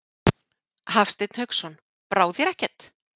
Hafsteinn Hauksson: Brá þér ekkert?